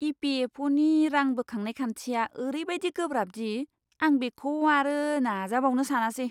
इ.पि.एफ.अ'.नि रां बोखांनाय खान्थिया ओरैबायदि गोब्राब दि आं बेखौ आरो नाजाबावनो सानासै।